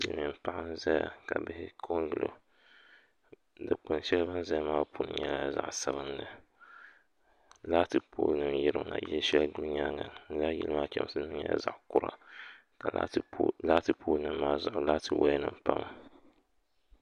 Silmiin paɣa n ʒɛya ka bihi ko n gilo dikpuni shɛli ni bi ni ʒɛya maa punu nyɛla zaɣ sabinli laati pool nim yirina yili shɛli guli nyaanga lala yili maa chɛmsi nim nyɛla zaɣ kura ka laati pool nim maa zuɣu laati woya nim pa ŋa